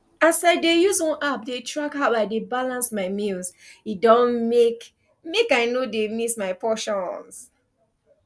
as i dey use one app dey track how i dey balance my meals e don make make i no dey miss my portions